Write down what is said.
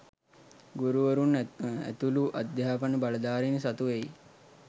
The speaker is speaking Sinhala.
ගුරුවරුන් ඇතුළු අධ්‍යාපන බලධාරින් සතු වෙයි